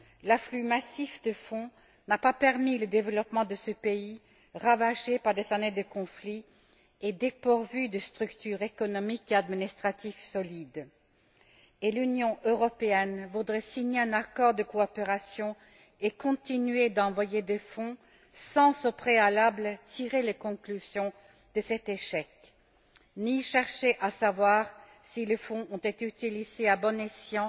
L'afflux massif de fonds n'a pas permis le développement de ce pays ravagé par des années de conflit et dépourvu de structures économiques et administratives solides. L'Union européenne voudrait signer un accord de coopération et continuer d'envoyer des fonds sans tirer, au préalable, les conclusions de cet échec, ni chercher à savoir si les fonds ont été utilisés à bon escient